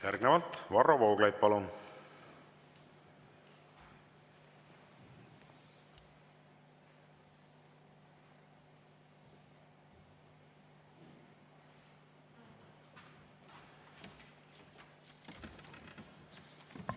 Järgnevalt Varro Vooglaid, palun!